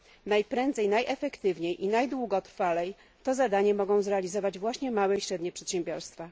Najprędzej, najefektywniej i najdługotrwalej to zadanie mogą zrealizować właśnie małe i średnie przedsiębiorstwa.